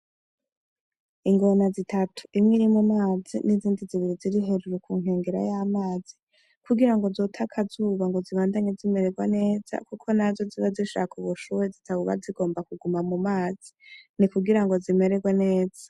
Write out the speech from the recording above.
Ingona zitatu imwe iri mu mazi n'izindi zibiri ziri hejuru ku nkengera y'amazi kugira ngo zote akazuba ngo zibandanye zimererwa neza kuko nazo ziba zishaka ubushuhe zitaba zigomba kuguma mu mazi ni kugira ngo zimererwe neza.